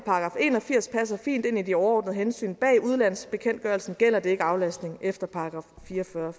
en og firs passer fint ind i de overordnede hensyn bag udlandsbekendtgørelsen gælder det ikke aflastning efter § fire og fyrre